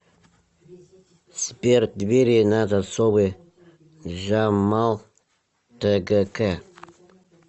сбер двери на засовы джамал тэгэкэ